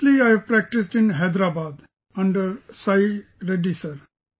Mostly I have practiced in Hyderabad, Under Sai Reddy sir